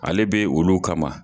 Ale bɛ olu kama.